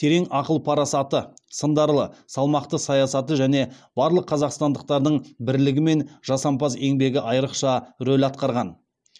терең ақыл парасаты сындарлы салмақты саясаты және барлық қазақстандықтардың бірлігі мен жасампаз еңбегі айрықша рөл атқарған